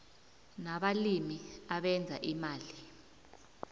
nabalimi abenza imali